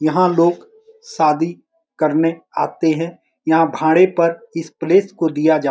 यहाँ लोग शादी करने आते है यहाँ भाड़े पर इस प्लेस को दिया जा --